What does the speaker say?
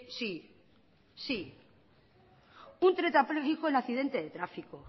sí sí un tetrapléjico en accidente de tráfico